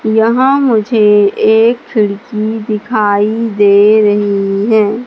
यहां मुझे एक खिड़की दिखाई दे रही हैं।